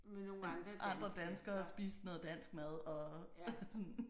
Andre danskere og spise noget dansk mad og sådan